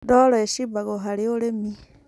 Ndoro ĩcimbagwo harĩ ũrĩmi